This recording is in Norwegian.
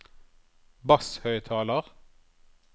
basshøyttaler